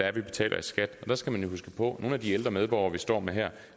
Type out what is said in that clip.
er vi betaler i skat der skal man huske på at nogle af de ældre medborgere vi står med her